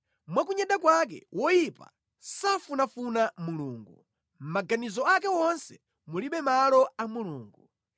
Mwa kunyada kwake woyipa safunafuna Mulungu; mʼmaganizo ake wonse mulibe malo a Mulungu.